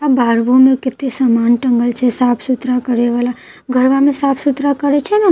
आ बहार घुमे केते सामान टँगल छै साफ सुथरा करेवाला घरवा में साफ सुथरा करै छै नै त ओकर ल --